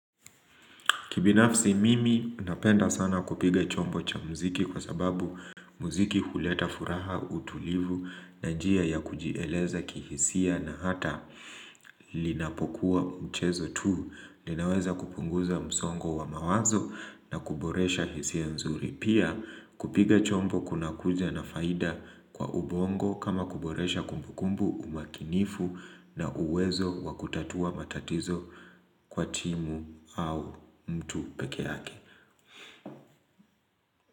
Kibinafsi mimi napenda sana kupiga chombo cha muziki kwa sababu muziki huleta furaha, utulivu na njia ya kujieleza kihisia na hata inapokuwa mchezo tu. Ninaweza kupunguza msongo wa mawazo na kuboresha hisia nzuri. Pia kupiga chombo kuna kuja na faida kwa ubongo kama kuboresha kumbukumbu, umakinifu na uwezo wa kutatua matatizo kwa timu au mtu peke yake.